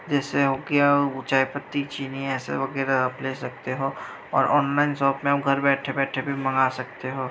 जैसे कि पत्ती चीनी वगैरा आप ले सकते हो| ऑनलाइन शॉप में भी आप घर बैठे बैठे मंगा सकते हो।